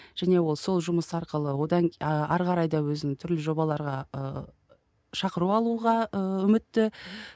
және ол сол жұмыс арқылы одан ары қарай да өзін түрлі жобаларға ыыы шақыру алуға ы үмітті